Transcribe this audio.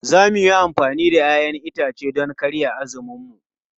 Za mu yi amfani da 'ya'yan itace don karya azuminmu.